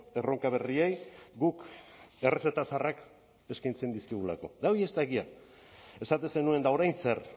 erronka berriei guk errezeta zaharrak eskaintzen dizkigulako eta hori ez da egia esaten zenuen eta orain zer